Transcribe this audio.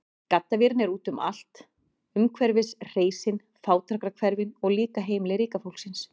Gaddavírinn er úti um allt, umhverfis hreysin, fátækrahverfin, og líka heimili ríka fólksins.